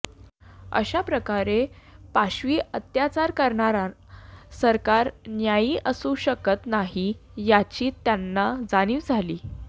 अशा प्रकारे पाशवी अत्याचार करणारं सरकार न्यायी असू शकत नाही याची त्यांना जाणिव झाली